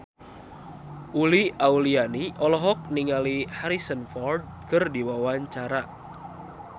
Uli Auliani olohok ningali Harrison Ford keur diwawancara